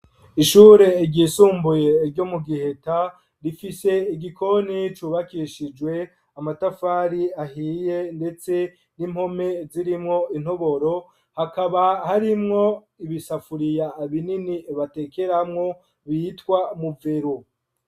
Ishure ry' isumbuye ryo mu giheta rifise igikoni cubakishijwe amatafari ahiye ndetse n'impome zirimwo intoboro hakaba harimwo ibisafuriya binini batekeramwo bitwa mu veru.